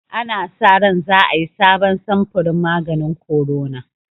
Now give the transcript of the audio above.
Ana sa ran za a yi sabon samfurin maganin korona